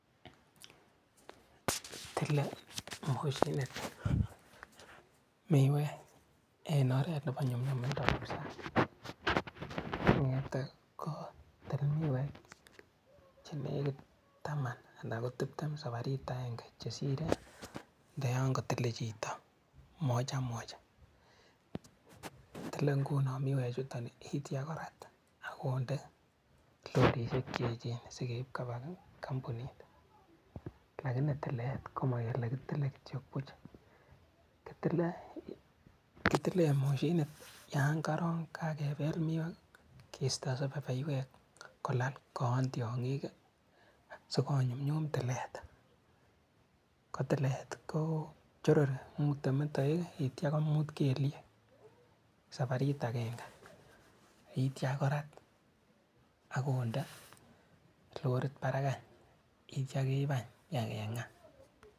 Tilee moshinit miwek en oret nepo nyumnyumindo kabsa ng'ete kotil miwek chenekit taman ana ko tiptem saparit akenge chesire ndo yon kotile chito mojamoja, kitile nguno miwechuto yeityo korat akonde lorrisiek cheechen sikeip kopaa kompunit, lakini tilet komokele kitile kityo buch kitilen moshinit yon korong kakepel miwek kisto sepepeywek kolal koon tiong'ik sikonyumnyum tilet kotilet koo chorori mute metowek yeitia komut kelyek saparit akenge yeitia korat akonde lorrit parak any yeitia keip any ibakeng'aa.